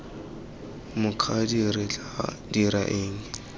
mokgadi re tla dira eng